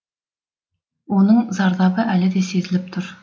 оның зардабы әлі де сезіліп тұр